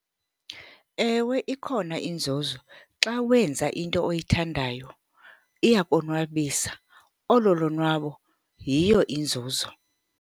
Ewe, ikhona inzuzo. Xa wenza into oyithandayo iyakonwabisa. Olo lonwabo yiyo inzuzo.